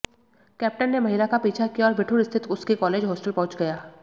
captain ने महिला का पीछा किया और बिठूर स्थित उसके कालेज होस्टल पहुंच गया